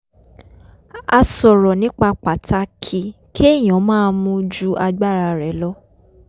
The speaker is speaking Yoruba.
a sọ̀rọ̀ nípa pàtàkì kéèyàn má mu ju agbara rè̩ lọ